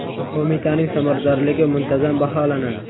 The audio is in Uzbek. Qo‘mitaning samaradorligi muntazam baholanadi.